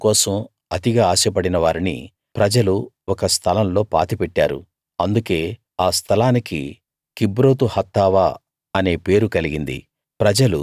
మాంసం కోసం అతిగా ఆశ పడిన వారిని ప్రజలు ఒక స్థలంలో పాతిపెట్టారు అందుకే ఆ స్థలానికి కిబ్రోతు హత్తావా అనే పేరు కలిగింది